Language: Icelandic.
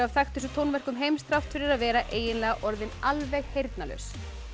þekktustu tónverkum heims þrátt fyrir að vera eiginlega orðinn alveg heyrnarlaus